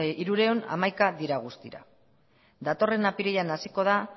hirurehun eta hamaika dira guztira datorren apirilean hasiko da